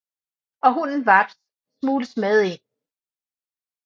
Og hunden Vaps smugles med ind